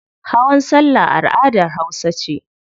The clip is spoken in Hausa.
Hawan salla al'adar hausa ce.